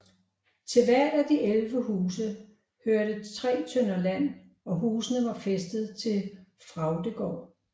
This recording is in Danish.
Til hvert af de 11 huse hørte 3 tønder land og husene var fæstet til Fraugdegaard